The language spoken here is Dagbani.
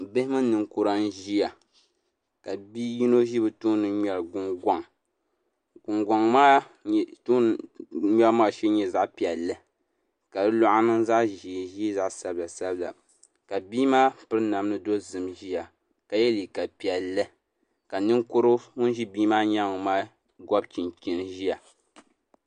Bihi mini ninkura n ʒiya ka bia yino ʒi bi tooni ŋmɛri Gungoŋ Gungoŋ maa ŋmɛbu maa shee maa nyɛla zaɣ piɛlli ka di luɣa niŋ zaɣ ʒiɛ ʒiɛ zaɣ sabila sabila ka bia maa piri namdi dozim ʒiya ka yɛ liiga piɛlli ka ninkurigu ŋun ʒi bia maa nyaangu maa gobi chinchin ʒiya